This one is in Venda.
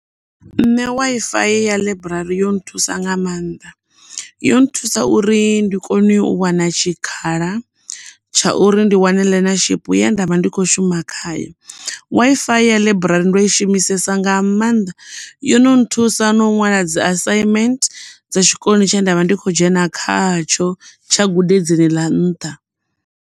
Nṋe WiFi ya ḽaiburari yo nthusa nga maanḓa yo nthusa uri ndi kone u wana tshikhala tsha uri ndi wane ḽenashiphi ye ndavha ndi kho shuma khayo. WiFi ya ḽaiburari ndo i shumisesa nga maanḓa yo no nthusa no ṅwala dzi asaimenthe dza tshikoloni tshe ndavha ndi kho dzhena khatsho tsha gudedzini ḽa nṱha.